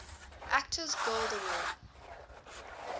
actors guild award